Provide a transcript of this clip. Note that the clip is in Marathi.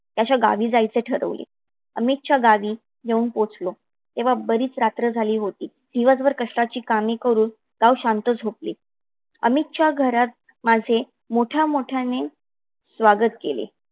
त्याच्या गावी जायचे ठरवले. अमितच्या गावी येऊन पोहचलो. तेव्हा बरीच रात्र झाली होती. दिवसभर कष्टाची कामे करून गाव शांत झोपले. अमितच्या घरात माझे मोठ्या मोठ्याने स्वागत केले.